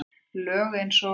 Lög eins og